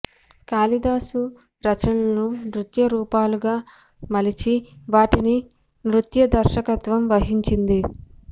కాళిదాసు రచనలను నృత్య రూపకాలుగా మలిచి వాటికి నృత్య దర్శకత్వం వహించింది